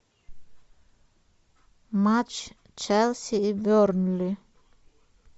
матч челси и бернли